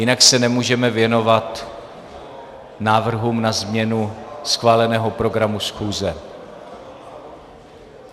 Jinak se nemůžeme věnovat návrhům na změnu schváleného programu schůze.